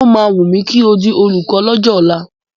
O máa wùn mí kí n di olùkọ́ lọ́jọ́ ọ̀la.